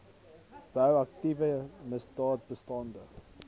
bou aktiewe misdaadbestande